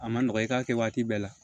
A ma nɔgɔ i k'a kɛ waati bɛɛ la